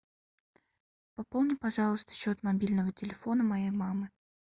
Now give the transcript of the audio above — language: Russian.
пополни пожалуйста счет мобильного телефона моей мамы